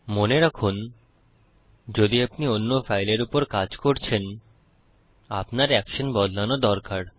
মনে রাখুন যদি আপনি অন্য ফাইলের উপর কাজ করছেন আপনার অ্যাকশন বদলানো দরকার